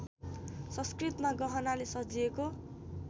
संस्कृतमा गहनाले सजिएको